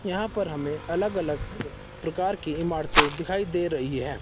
यहां पर हमें अलग अलग प्रकार की इमारतें दिखाई दे रही है।